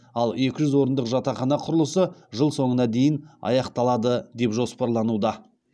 ал екі жүз орындық жатақхана құрылысы жыл соңына дейін аяқталады деп жоспарлануда